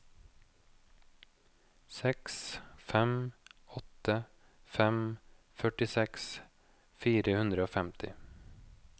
seks fem åtte fem førtiseks fire hundre og femti